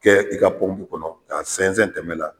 Kɛ i ka kɔnɔ ka sɔnsɛn tɛmɛ la.